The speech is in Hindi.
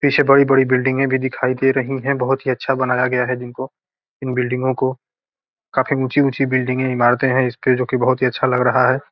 पीछे बड़ी-बड़ी बिल्डिंगे भी दिखाई दे रही है बहुत ही अच्छा बनाया गया है जिनको इन बिल्डिंगो को काफी ऊंची ऊंची बिल्डिंगे है इमारतें हैं इसके जो की बहुत ही अच्छा लग रहा है।